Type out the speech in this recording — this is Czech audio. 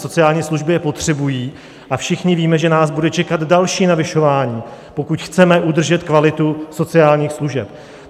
sociální služby je potřebují a všichni víme, že nás bude čekat další navyšování, pokud chceme udržet kvalitu sociálních služeb.